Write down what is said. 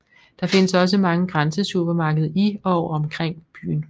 Der findes også mange grænsesupermarkeder i og omkring byen